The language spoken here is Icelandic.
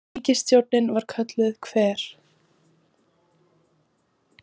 Ríkisstjórnin var kölluð Hver?